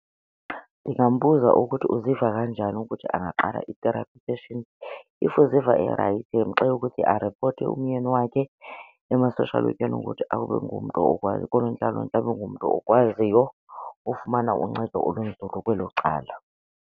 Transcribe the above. Ndingambuza ukuthi uziva kanjani ukuthi angaqala i-therapy session, if uziva erayithi ndimxelele ukuthi aripote umyeni wakhe ema-social wekheni ukuthi abe ngumntu , koonontlalontle abe ngumntu okwaziyo ufumana uncedo olunzulu kwelo cala.